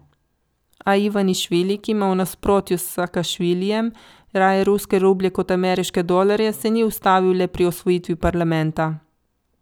A Ivanišvili, ki ima v nasprotju s Sakašvilijem raje ruske rublje kot ameriške dolarje, se ni ustavil le pri osvojitvi parlamenta.